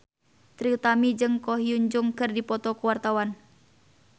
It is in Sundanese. Trie Utami jeung Ko Hyun Jung keur dipoto ku wartawan